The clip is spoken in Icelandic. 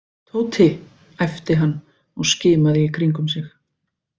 Tóti æpti hann og skimaði í kringum sig.